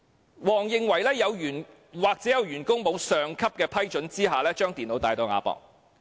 黃思文認為或有員工在未有上級批准下把電腦帶到亞博館。